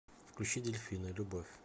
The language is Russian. включи дельфина любовь